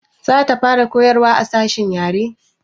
Za ta fara koyarwa a sashen yare